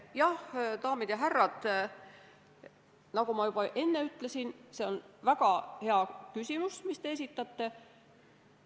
Jah, daamid ja härrad, nagu ma juba enne ütlesin, on see väga hea küsimus, mille te esitasite.